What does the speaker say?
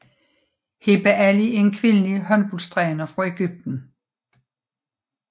Heba Aly er en kvindelig håndboldtræner fra Egypten